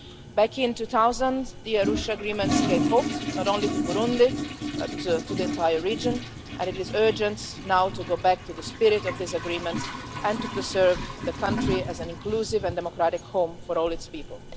Back in 2000, the Arusha agreement gave hope not only to Burundi but also to the entire region, and it is urgent now to go back to the spirit of that agreement and to preserve the country as an inclusive and democratic home for all its people.